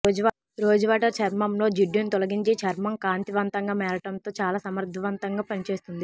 rose water చర్మంలో జిడ్డును తొలగించి చర్మం కాంతివంతంగా మారటంతో చాలా సమర్ధవంతంగా పనిచేస్తుంది